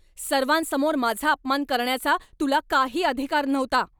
सर्वांसमोर माझा अपमान करण्याचा तुला काही अधिकार नव्हता.